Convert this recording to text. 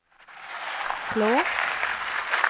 Flå